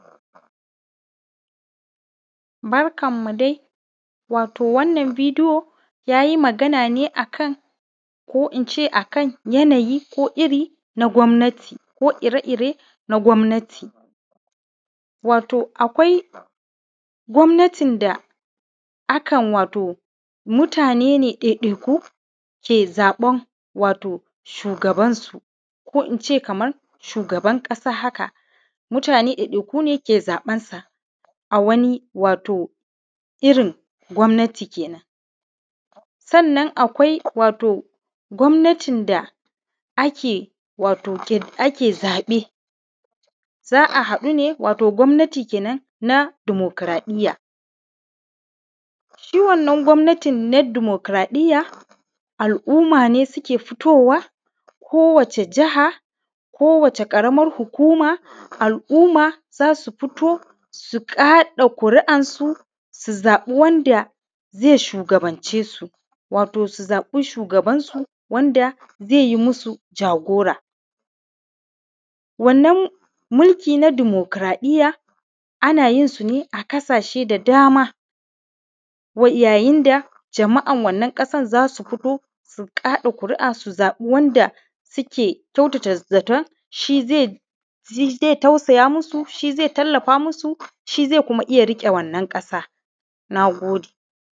Barkanmu dai wato wannan bidiyo ya yi magana ne akan ko in ce yanayi ko iri na gwamannati ko ire-ire na gwamannati, wato akwai gwamannati da akan wato mutane ne ɗai-ɗai ke zaɓan wato shugabansu ko in ce kaman shugaban ƙasa haka mutane ɗai-ɗai ku ne ke zaɓansa a wani wato irin gwamannati kenan, sannan akwai wato gwamannati da ake wato ta yi ake zaɓe za’a haɗu ne wato gwamannati kenan na demokratiya shi wannan gwamannati na demokratiya al’umma ne suke fitowa ko wace jaha ko wace ƙaramar hukuma al’umma za su fito kaɗa ƙuri’ansu su zaɓi wanda ze shugabance su wato su zabi shugabansu wanda ze yi musu jagora wannan mulki na demokratiya ana yin su ne a ƙasashe da dama wa yayin da jama’an wannan ƙasan za su fito su kaɗa ƙuria su zaɓi wanda suke kyautata zaton shi ze shi ze tausaya musu shi ze talafa musu shi ze kuma iya riƙe wannan ƙasa na gode